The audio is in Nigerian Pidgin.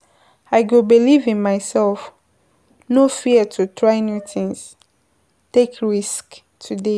I go believe in myself, no fear to try new things, take risks today.